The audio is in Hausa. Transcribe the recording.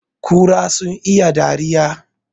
Kura sun iya dariya